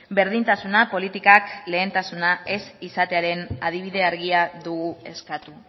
berdintasuna politikak lehentasuna ez izatearen adibide argia dugu eskatu